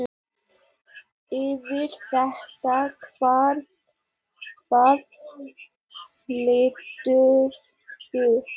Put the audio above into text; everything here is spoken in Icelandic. Yfir þetta, hvað heldurðu!